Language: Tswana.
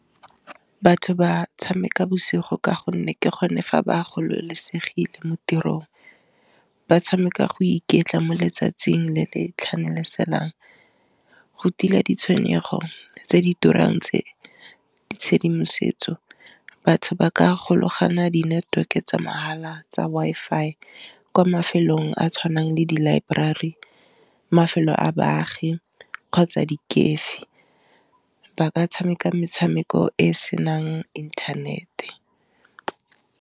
Batho ba tshameka bosigo ka gonne ke gone fa ba gololosegile mo tirong ba tshameka go iketla mo letsatsing le le tlhanaselang, go tila ditshwenyegelo tse di turang tse ditshedimosetso batho ba ka gologana di network-e tsa mahala tsa Wi-Fi kwa mafelong a a tshwanang le di laeborari mafelo a baagi kgotsa di kefi ba ka tshameka metshameko e e senang inthanete.